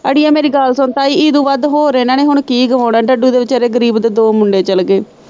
ਅੜੀਏ ਮੇਰੀ ਗੱਲ ਸੁਣ ਤਾਈਂ ਇਹਦੋ ਵੱਧ ਹੋਰ ਇੰਨਾਂ ਨੇ ਕੀ ਗਵਾਉਣਾ, ਡੱਡੂ ਦੇ ਵਿਚਾਰੇ ਗਰੀਬ ਦੇ ਮੁੰਡੇ ਚੱਲ ਗਏ।